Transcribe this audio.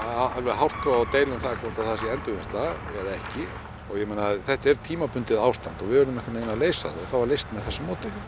hártoga og deila um það hvort að það sé endurvinnsla eða ekki og ég meina þetta er tímabundið ástand og við urðum einhvern veginn að leysa það það var leyst með þessu móti